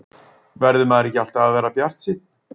Verður maður ekki alltaf að vera bjartsýnn?